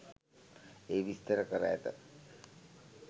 එහි විස්තර කර ඇත